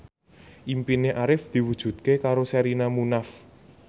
impine Arif diwujudke karo Sherina Munaf